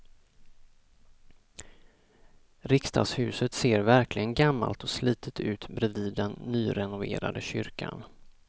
Riksdagshuset ser verkligen gammalt och slitet ut bredvid den nyrenoverade kyrkan.